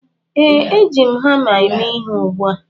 Ee, Eji m hama eme ihe ugbu a